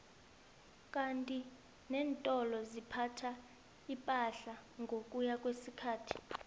kandi nentolo ziphatha ipahla ngokuya kwesikhathi